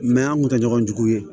an kun tɛ ɲɔgɔn jugu ye